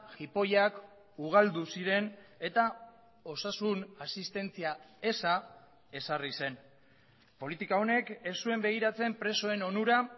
jipoiak ugaldu ziren eta osasun asistentzia eza ezarri zen politika honek ez zuen begiratzen presoen onura